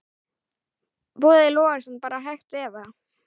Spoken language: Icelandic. Boði Logason: Bara hægt eða?